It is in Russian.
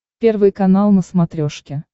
первый канал на смотрешке